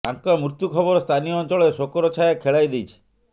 ତାଙ୍କ ମୃତ୍ୟୁ ଖବର ସ୍ଥାନୀୟ ଅଞ୍ଚଳରେ ଶୋକର ଛାୟା ଖେଳାଇଦେଇଛି